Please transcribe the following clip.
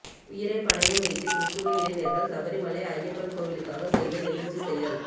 உயிரை பணயம் வைத்து கிறிஸ்துவ இளைஞர்கள் சபரி மலை ஐயப்பன் கோவிலுக்காக செய்த நெகிழ்ச்சி செயல்